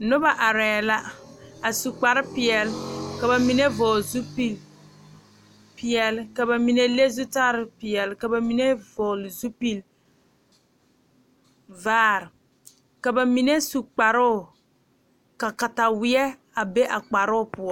Noba are la a su kpare peɛle ka bamine vɔgle zupele peɛle ka bamine le zutal peɛle ka bamine vɔgle zupele vaare ka bamine su kparo ka katawiɛ a be a kparo poɔ.